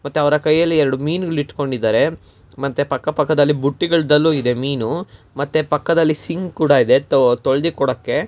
ಅವರ ಕೈಯಲ್ಲಿ ಇರುವ ಮೀನು ಹಿಡಿದುಕೊಂಡಿದ್ದಾರೆ ಮತ್ತೆ ಪಕ್ಕ ಪಕ್ಕ ಬುಟ್ಟಿಯಲ್ಲಿದೆ ಮೀನು ಮತ್ತೆ ಪಕ್ಕದಲ್ಲಿ ಸಿಂಕ್(sink) ಕೂಡ ಇದೆ ತೊಳೆದು ಕೊಡಕ್ಕೆ--